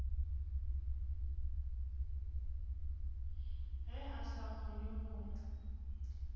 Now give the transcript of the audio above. ge a sa kgone go